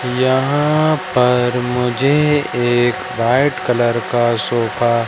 यहां पर मुझे एक व्हाइट कलर का सोफा--